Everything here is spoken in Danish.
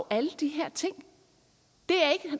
alle de her ting det